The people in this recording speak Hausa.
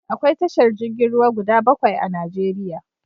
Akwai tashar jirgin ruwa guda bakwai a Najeriya.